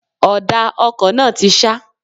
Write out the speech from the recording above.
Ọ̀dà ọkọ̀ náà ti ṣá.